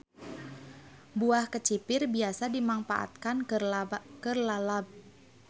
Buah kecipir biasa dimangpaatkeun keur lalab.